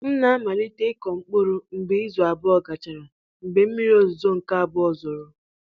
M na-amalite ịkụ mkpụrụ mgbe izu abụọ gachara mgbe mmiri ozuzo nke abụọ zoro